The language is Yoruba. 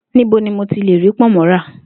Níbo ni mo ti le rí pò̩nmó̩ ra?